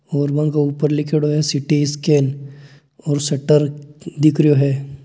ओर बेंके ऊपर लिख्योड़ो है सिटी स्केन और सटर दिख रहियो है।